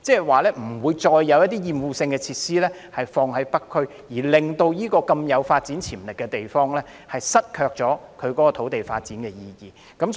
換言之，不會再在北區設立厭惡性設施，令這個具發展潛力的地方失卻土地發展的意義。